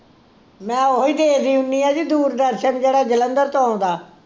ਮੈਂ ਉਹੀ ਦੇਖਦੀ ਹੁੰਨੀ ਆ ਜੀ ਦੂਰਦਰਸ਼ਨ ਜਿਹੜਾ ਜਲੰਧਰ ਤੋਂ ਆਉਂਦਾ